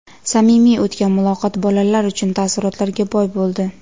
Samimiy o‘tgan muloqot bolalar uchun taassurotlarga boy bo‘ldi.